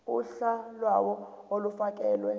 uhla lawo olufakelwe